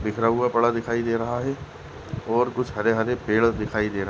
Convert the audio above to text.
बिखरा हुआ बड़ा दिखाई दे रहा है और कुछ हरे हरे पेड़ दिखाई दे र --